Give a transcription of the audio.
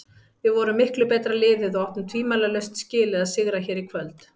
Við vorum miklu betra liðið og áttum tvímælalaust skilið að sigra hér í kvöld.